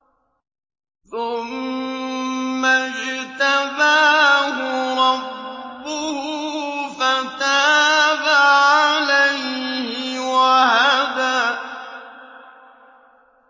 ثُمَّ اجْتَبَاهُ رَبُّهُ فَتَابَ عَلَيْهِ وَهَدَىٰ